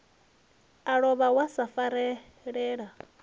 a lovha wa sa farelela